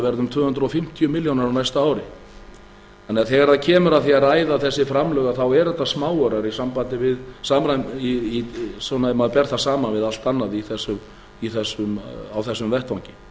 um tvö hundruð fimmtíu milljónir á næsta ári þannig að þegar kemur að því að ræða þessi framlög þá eru þetta smáaurar ef maður ber það saman við allt annað á þessum vettvangi